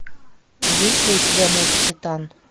есть ли у тебя мой капитан